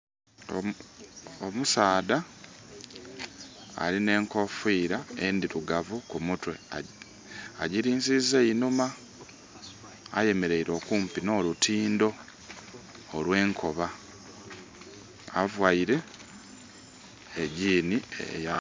Omusaadha alina enkufira endhirugavu ku mutwe, agilinziza einhuma. Ayemeleire okumpi n'olutindho olwenkoba. Avaire e gyini eya...